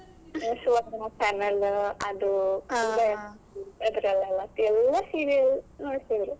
ಸುವರ್ಣ channel ಅದು ಅದ್ರಲ್ಲೆಲ್ಲ ಎಲ್ಲಾ serial ನೋಡ್ತಿದ್ರು.